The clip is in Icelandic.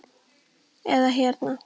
eða hérna